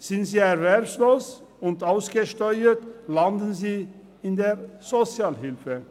Sind sie erwerbslos und ausgesteuert, landen sie in der Sozialhilfe.